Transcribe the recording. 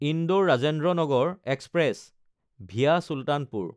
Indore-Rajendranagar express (VA Sultanpur)